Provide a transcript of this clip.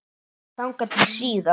Þangað til síðar.